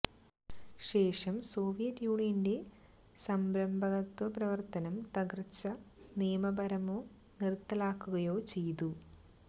ശേഷം സോവിയറ്റ് യൂണിയന്റെ സംരംഭകത്വ പ്രവർത്തനം തകർച്ച നിയമപരമോ നിർത്തലാക്കുകയോ ചെയ്തു